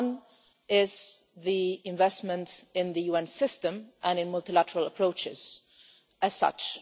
One is the investment in the UN system and in multilateral approaches, as such.